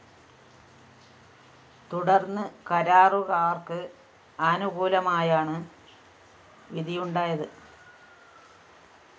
തുടര്‍ന്ന് കരാറുകാര്‍ക്ക് അനുകൂലമായാണ് വിധിയുണ്ടായത്